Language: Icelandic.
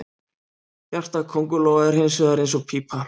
Hjarta köngulóa er hins vegar eins og pípa.